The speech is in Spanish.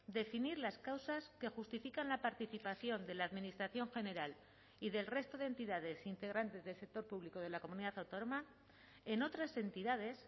definir las causas que justifican la participación de la administración general y del resto de entidades integrantes del sector público de la comunidad autónoma en otras entidades